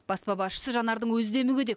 баспа басшысы жанардың өзі де мүгедек